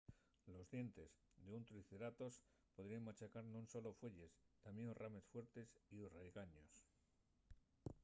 los dientes d'un triceratops podríen machacar non solo fueyes tamién rames fuertes y raigaños